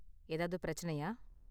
ஏதாவது பிரச்சனையா?